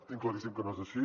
tinc claríssim que no és així